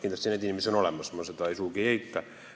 Kindlasti niisuguseid inimesi on olemas, ma seda sugugi ei eita.